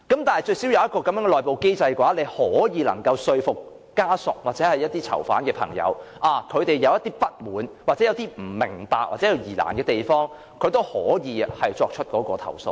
但是，如有這個內部機制，則至少可說服家屬或囚犯的朋友，當他們有不滿、不明白或有疑難的地方時，也可以作出投訴。